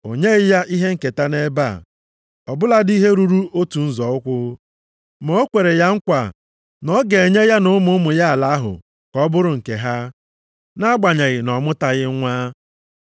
O nyeghị ya ihe nketa nʼebe a, ọ bụladị ihe ruru otu nzọ ụkwụ. Ma o kwere ya nkwa na ọ ga-enye ya na ụmụ ụmụ ya ala ahụ ka ọ bụrụ nke ha, nʼagbanyeghị na ọ mụtaghị nwa.